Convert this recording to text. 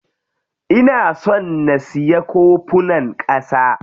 Ina son na siya kofunan ƙasa.